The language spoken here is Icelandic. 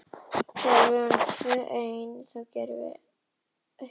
Hann er ofsalega góður við mig þegar við erum tvö ein.